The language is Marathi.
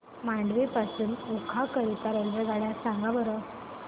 मांडवी पासून ओखा करीता रेल्वेगाड्या सांगा बरं